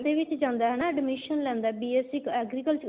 ਦੇ ਵਿੱਚ ਜਾਂਦਾ ਏ ਹਨਾਂ admission ਲੈਂਦਾ BSC agriculture